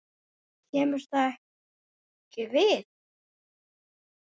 KEMUR ÞAÐ EKKI VIÐ!